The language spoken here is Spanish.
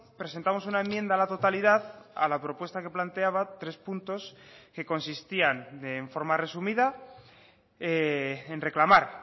presentamos una enmienda a la totalidad a la propuesta que planteaba tres puntos que consistían de forma resumida en reclamar